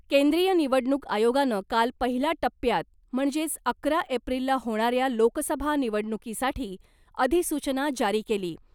केंद्रीय निवडणूक आयोगानं काल पहिल्या टप्प्यात म्हणजेच अकरा एप्रिलला होणाऱ्या लोकसभा निवडणुकीसाठी अधिसूचना जारी केली .